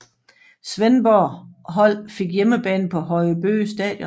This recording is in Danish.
Svendborg hold fik hjemmebane på Høje Bøge Stadion